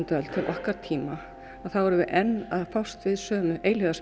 öld til okkar tíma þá erum við enn að fást við sömu